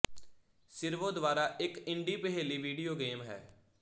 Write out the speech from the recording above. ਸਿਰਵੋ ਦੁਆਰਾ ਇੱਕ ਇੰਡੀ ਪਹੇਲੀ ਵੀਡੀਓ ਗੇਮ ਹੈ